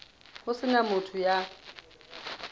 ho se na motho ya